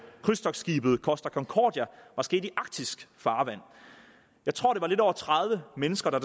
krydstogtskibet costa concordia var sket i arktisk farvand jeg tror det var lidt over tredive mennesker